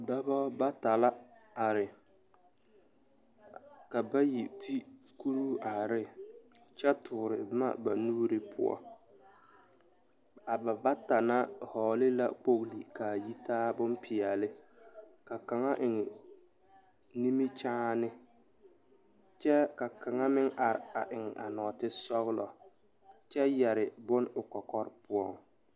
Dɔbɔ bata la are ka bayi te kuruu are ne kyɛ tuuri boma ba nuuri poɔ a ba bata na hɔɔle la kpoɡele ka a yitaa bompeɛle ka kaŋa eŋ nimikyaane kyɛ ka kaŋa meŋ are eŋ nɔɔtesɔɡelɔ kyɛ yɛ bon o kɔkɔre poɔŋ.